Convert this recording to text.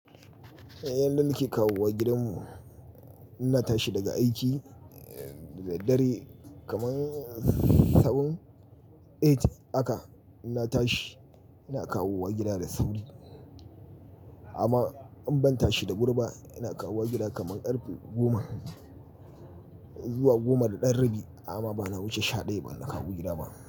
Yanda nake kawowa gidan mu, inna tashi daga aiki da daddare kaman seven eight haka inna tashi ina kawowa gida da sauri. Amma in ban tashi da wuri ina kawowa gida kaman ƙarfe goma zuwa goma da ɗan rabi amma bana wuce shaɗaya bana kawo gida ba.